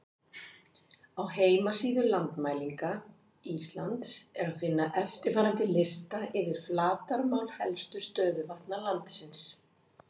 Á heimasíðu Landmælinga Íslands er að finna eftirfarandi lista yfir flatarmál helstu stöðuvatna landsins: